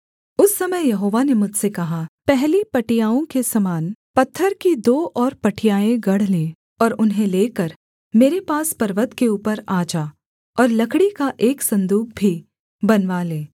उस समय यहोवा ने मुझसे कहा पहली पटियाओं के समान पत्थर की दो और पटियाएँ गढ़ ले और उन्हें लेकर मेरे पास पर्वत के ऊपर आ जा और लकड़ी का एक सन्दूक भी बनवा ले